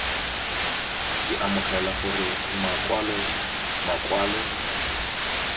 ke amogela gore makwalo makwalo